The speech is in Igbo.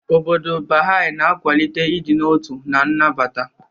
Obodo Baha'i na-akwalite ịdị n'otu na nnabata.